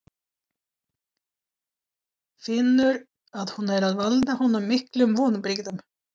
Finnur að hún er að valda honum miklum vonbrigðum.